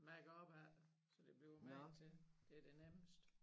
Mærke op ad så det bliver magen til det det nemmeste